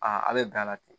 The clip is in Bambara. Aa a bɛ dan la ten